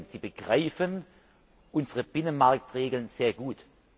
Sie begreifen unsere Binnenmarktregeln sehr gut.